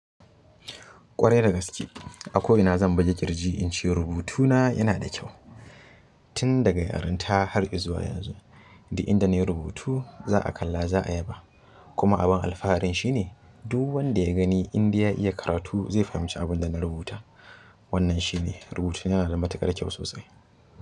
Ƙwarai dagaske, a ko ina zan buge ƙirji in ce rubutuna yana da kyau. Tun daga yarenta hari zuwa yanzu, duk inda nayi rubutu za'a kalla za'a yaba. Kuma abun alfaharin shi ne duk wanda ya gani indai ya iya karatu zai fahimci abun da na rubuta. Wannan shi ne rubutuna yana da matuƙar kyau sosai.